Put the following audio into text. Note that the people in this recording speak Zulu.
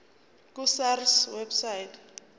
ku sars website